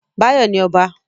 Báyọ̀ ni ọba